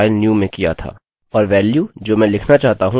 और वेल्यू जो मैं लिखना चाहता हूँvisitorsnew है